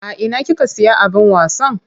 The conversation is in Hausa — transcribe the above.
A ina kika siya abin wasan?